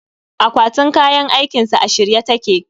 Akwatin kayan aikinsa a shirye take